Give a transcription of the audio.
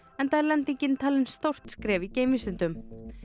enda er lendingin talin stórt skref í geimvísindum